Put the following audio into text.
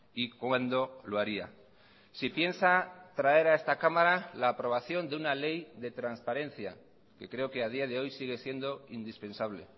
y cuándo lo haría si piensa traer a esta cámara la aprobación de una ley de transparencia que creo que a día de hoy sigue siendo indispensable